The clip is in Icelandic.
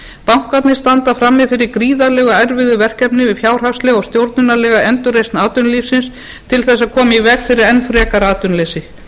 bankarnir standa frammi fyrir gríðarlega erfiðu verkefni við fjárhagsleg og stjórnunarlega endurreisn atvinnulífsins til að koma í veg fyrir enn frekari atvinnuleysi